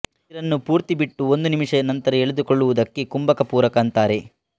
ಉಸಿರನ್ನು ಪೂರ್ತಿ ಬಿಟ್ಟು ಒಂದು ನಿಮಿಷದ ನಂತರ ಎಳೆದುಕೊಳ್ಳುವುದಕ್ಕೆ ಕುಂಭಕ ಪೂರಕ ಅಂತಾರೆ